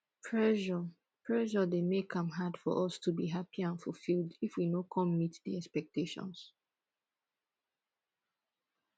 pressure pressure dey make am hard for us to be happy and fulfilled if we no come meet di expectations